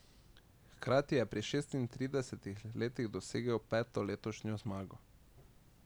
Hkrati je pri šestintridesetih letih dosegel peto letošnjo zmago.